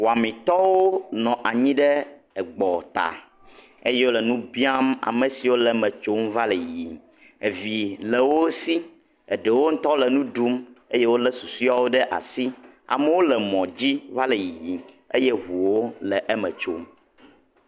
Wɔmitɔwo nɔ anyi ɖe gbɔta eye wole nu biam amesiwo le eme tsom va le yiyim vi le wosi eye wo ŋtɔwo le nu ɖum wole susuewo ɖe asi amewo le mɔ dzi va le yiyim eye ʋuwo le eme tsom